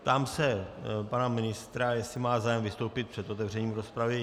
Ptám se pana ministra, jestli má zájem vystoupit před otevřením rozpravy.